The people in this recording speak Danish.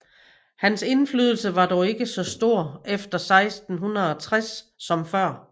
Hans indflydelse var dog ikke så stor efter 1660 som før